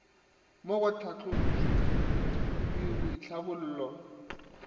mo go tlhahlotšweledi le boitlhabollo